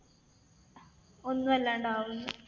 ഒന്നുവല്ലാണ്ടാവുമ്ന്ന്.